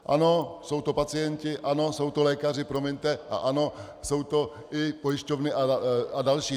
Ano, jsou to pacienti, ano, jsou to lékaři, promiňte, a ano, jsou to i pojišťovny a další.